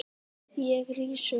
Ég rís upp.